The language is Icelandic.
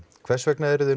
hvers vegna eruð þið